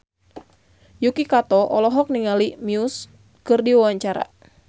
Yuki Kato olohok ningali Muse keur diwawancara